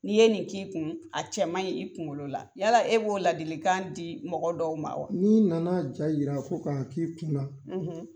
N'i ye nin k'i kun, a cɛ maɲi i kunkolo la, yala e b'o ladilikan di mɔgɔ dɔw ma wa ? N'i nana ja yira ko k'a k'i kun na